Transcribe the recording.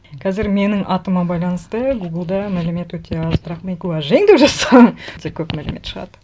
қазір менің атыма байланысты гуглда мәлімет өте аз бірақ мейхуа жиң деп жазсаң өте көп мәлімет шығады